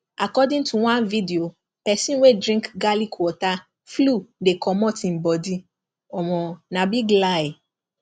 according to one video person wey drink garlic water flu dey comot im body omo na big lie